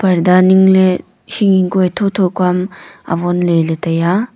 parda ningley hing hing kua thow thow kua am avon ley tai a.